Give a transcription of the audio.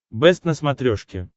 бэст на смотрешке